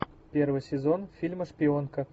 первый сезон фильма шпионка